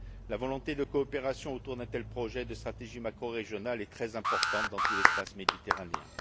La volonté de coopération autour d'un tel projet de stratégie macrorégionale est très importante dans tout l'espace méditerranéen.